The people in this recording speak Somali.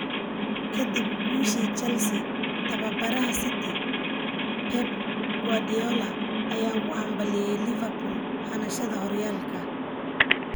Kadib guushii Chelsea, tababaraha City Pep Guardiola ayaa ugu hambalyeeyay Liverpool hanashada horyaalka.